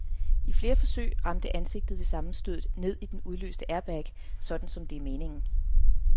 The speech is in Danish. I flere forsøg ramte ansigtet ved sammenstødet ned i den udløste airbag, sådan som det er meningen.